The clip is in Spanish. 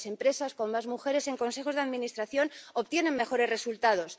Las empresas con más mujeres en los consejos de administración obtienen mejores resultados.